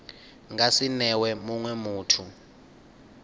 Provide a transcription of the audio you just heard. nga si newe munwe muthu